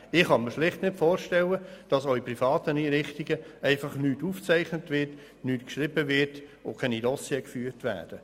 Ich kann mir schlicht nicht vorstellen, dass in privaten Einrichtungen nichts aufgezeichnet, nichts geschrieben und keine Dossiers geführt werden.